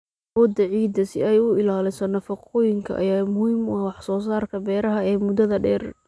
Awoodda ciidda si ay u ilaaliso nafaqooyinka ayaa muhiim u ah wax soo saarka beeraha ee muddada dheer.